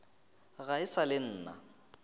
ga e sa le nna